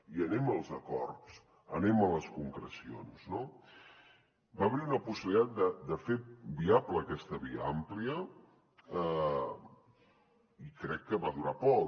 i anem als acords anem a les concrecions no va haver hi una possibilitat de fer viable aquesta via àmplia i crec que va durar poc